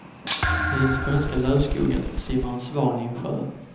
I den skånska lövskogen simmar en svan i en sjö.